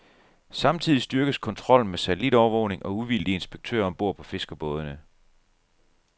Samtidig styrkes kontrollen med satellitovervågning og uvildige inspektører om bord på fiskerbådene.